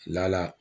Lala